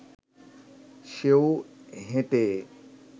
সেও হেঁটে